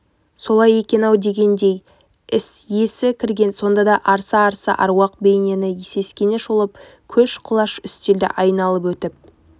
солай екен-ау дегендей есі кірген сонда да арса-арса аруақ бейнені сескене шолып көш-құлаш үстелді айналып өтіп